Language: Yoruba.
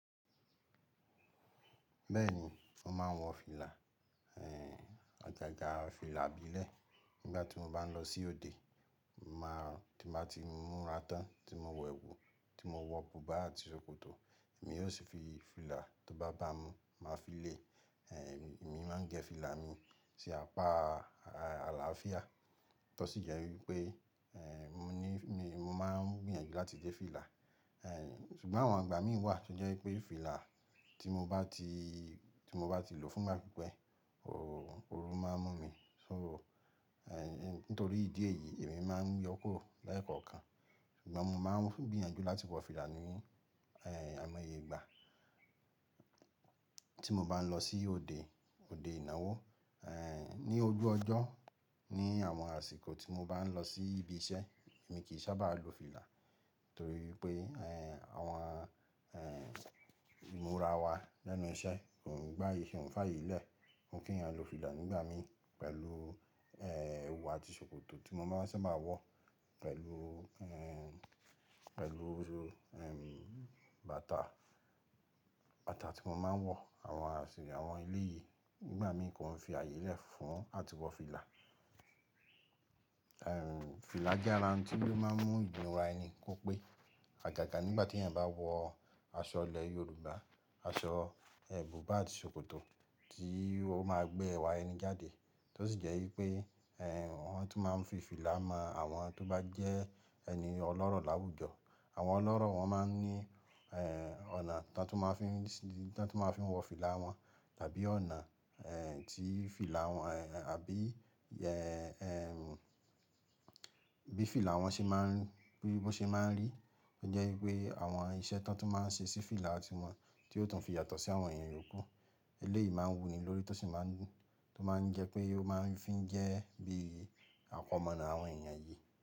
Bẹ́ẹ̀ ni, mo máa ń wọ fìlà, àgàgà fìlà ìbílẹ̀ nígbà tí mo bá ń lọ sí òde. Mo máa, tí mo bá ti múra tán, tí mo wọ èwù, tí mo wọ bùbá àti ṣòkòtò, èmi yóò sì fi fìlà tó bá bá mu, màá fi lé. Èmi máa ń gẹ fìlà mi sí apá àlàáfíà, tọ sí jẹ́ wípé, mo ní, mo máa ń gbìyànjú láti de fìlà. Ṣùgbọ́n àwọn ìgbà mí wà tó jẹ́ wípé fìlà tí mo bá ti, tí mo bá ti lò fún ìgbà pípẹ́, ooru máa ń mú mi. So, nítorí ìdí èyí, èmi máa ń yọ kúrò lẹ́ẹ̀kọ̀kan. Ṣùgbọ́n mo máa ń gbìyànjú láti wọ fìlà ní àìmọye ìgbà tí mo bá ń lọ sí òde, òde ìnáwó. Ni ojú ọjọ́, ní àwọn àsìkò tí mo bá ń lọ sí ibi iṣẹ́, èmi kì í sábà lo fìlà torí pé àwọn ìmúra wa lẹ́nu iṣẹ́ kò ń gba ye ko n faye lẹ́. Wọn kì jẹ́ kéyàn lo fìlà nígbà mí pẹ̀lú èwù àti ṣòkòtò tí mo máa ń ṣàbà wọ, pẹ̀lú, pẹ̀lú bàtà, bàtà tí mo máa ń wọ. Àwọn, àwọn ilé yìí nígbà mi kò ń fi ààyè lẹ́ fún àti wọ fìlà. Fìlà jẹ́ ara ohun tí ó máa ń mú ìmúra ẹni kó pé. Àgàgà nígbà tí ẹ̀yin bá wọ aṣọ ilẹ̀ Yorùbá, aṣọ bùbá àti ṣòkòtò tì í ó máa gbé ẹwà ẹni jáde. Tọ sí jẹ́ wípé, wọ́n tún máa ń fi fìlà mọ àwọn tó bá jẹ́ ẹni ọlọ́rọ̀ láwùjọ. Àwọn ọlọ́rọ̀ wọn máa ń ní ọ̀nà tí wọn tún máa ń fi, tí wọn tún máa ń fi wọ fìlà wọn tàbí ọ̀nà tí fìlà wọn, àbí bí fìlà wọn ṣe máa ń, bí ó ṣe máa ń rí. Ó jẹ́ wípé àwọn iṣẹ́ tí wọn tún máa ń ṣe sí fìlà ti wọn tí yóò tún fi yàtọ̀ sí àwọn èèyàn ìyókú. Elé yìí máa ń wuni lórí tó sì máa ń, tó máa ń jẹ́ pé ó máa ń fín jẹ́ bí àkọmọ̀nà àwọn èèyàn yìí.